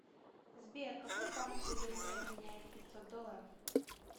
сбер какой банк выгоднее обменяет пятьсот долларов